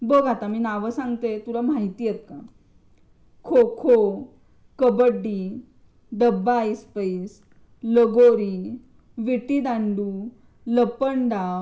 बघ आता मी नाव सांगते तुला माहित आहेत का. खो खो, कबड्डी, डब्बा ऐसपैस, लगोरी, विटी दांडू, लपंडाव.